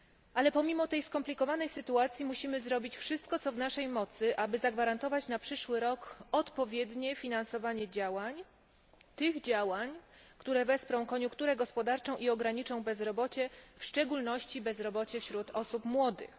Ale pomimo tej skomplikowanej sytuacji musimy zrobić wszystko co w naszej mocy, aby zagwarantować na przyszły rok odpowiednie finansowanie działań, które wesprą koniunkturę gospodarczą i ograniczą bezrobocie, w szczególności bezrobocie wśród osób młodych.